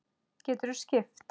Geturðu skipt?